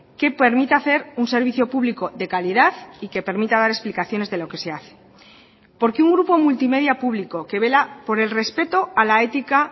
que permita hacer un servicio público de calidad y que permita dar explicaciones de lo que se hace porque un grupo multimedia público que vela por el respeto a la ética